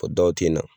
O dɔw tɛ na